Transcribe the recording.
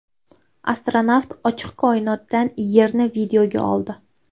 Astronavt ochiq koinotdan Yerni videoga oldi .